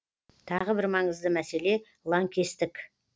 тағы бір маңызды мәселе лаңкестік